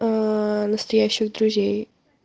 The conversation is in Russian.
аа настоящих друзей